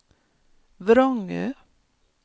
Vrångö